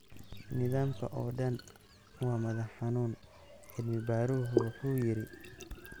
Nidaamka oo dhan waa madax xanuun, cilmi-baaruhu wuxuu yiri.